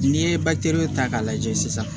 N'i ye ta k'a lajɛ sisan